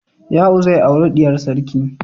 Ya'u zai auri diyar sarki.